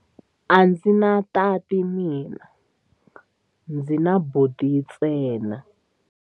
A ndzi na tati mina, ndzi na buti ntsena.